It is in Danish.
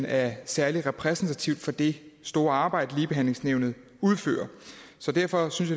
er særlig repræsentativt for det store arbejde ligebehandlingsnævnet udfører så derfor synes